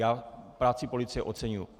Já práci policie oceňuji.